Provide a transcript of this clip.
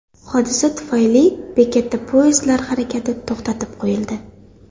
Hodisa tufayli bekatda poyezdlar harakati to‘xtatib qo‘yildi.